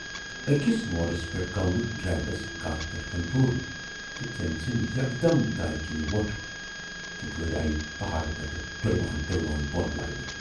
ٲکِس موڈس پٮ۪ٹھ گَو نہٕ ڈرائیورس گاڑِ پٮ۪ٹھ کنٹرول تہٕ تٔمۍ ژھُنۍ یکدم دارِ کِنۍ وۅٹھ تہٕ گٲڑۍ آیہِ پہاڑٕ پٮ۪ٹھ ڈُلوان ڈُلوان بۅن لاینہٕ۔